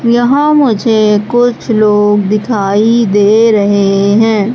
यहां मुझे कुछ लोग दिखाई दे रहे हैं।